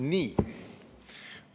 Nii!